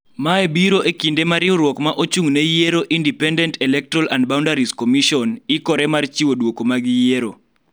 Mae biro e kinde ma riwruok ma ochung� ne yiero Independent Electoral and Boundaries Commission kore mar chiwo duoko mag yiero